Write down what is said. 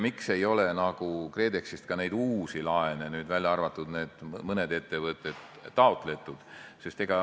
Miks ei ole KredExist taotletud neid uusi laene, välja arvatud mõned ettevõtted?